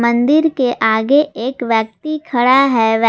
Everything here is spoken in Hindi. मंदिर के आगे एक व्यक्ति खड़ा है।